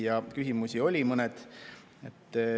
Ja küsimusi oli.